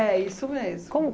isso mesmo. Como